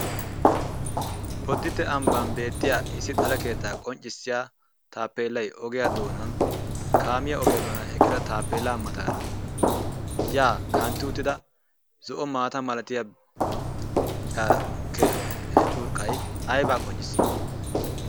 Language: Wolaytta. Boditee ambban beetiyaa issi xalle keetta qonccissiyaa taapelaay ogiya doonan kaamiya ogiya doonan eqqida taapeela mataara ya kantti uttida zo'o maataa malatiya caa kee curqqay ayba qonccissi?